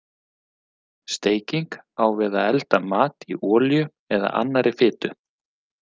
Steiking á við að elda mat í olíu eða annarri fitu.